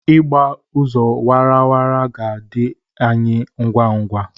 Ịgba ụzọ awara awara ga-adị anyị ngwa ngwa.